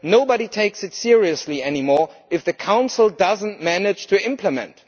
Nobody takes it seriously any more if the Council does not manage to implement.